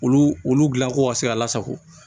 Olu olu dilankow ka se ka lasago